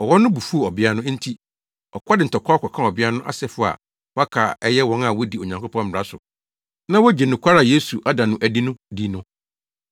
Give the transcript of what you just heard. Ɔwɔ no bo fuw ɔbea no, enti ɔkɔ de ntɔkwaw kɔkaa ɔbea no asefo a wɔaka a ɛyɛ wɔn a wodi Onyankopɔn mmara so na wogye nokware a Yesu ada no adi no di no.